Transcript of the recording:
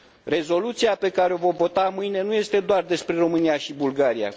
Rezoluția pe care o vom vota mâine nu este doar despre România și Bulgaria.